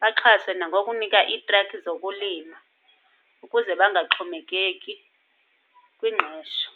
baxhaswe nangokunikwa iitrakhi zokulima ukuze bangaxhomekeki kwingqesho.